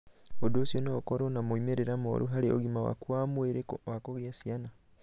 Ũndũ ũcio no ũkorũo na moimĩrĩro moru harĩ ũgima waku wa mwĩrĩ wa kugĩa ciana.